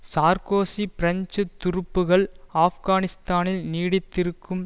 Sarkozy French துருப்புக்கள் ஆப்கானிஸ்தானில் நீடித்திருக்கும்